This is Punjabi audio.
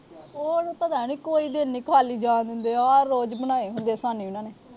ਹੋਰ ਕੋਈ ਦਿਨ ਨੀ ਖਾਲੀ ਜਾਣ ਦਿੰਦੇ। ਆ ਰੋਜ ਬਣਾਏ ਹੁੰਦੇ ਸਾਹਨੀ ਹਰਾ ਨੇ।